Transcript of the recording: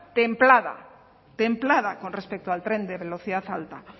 templada templada con respecto al tren de velocidad alta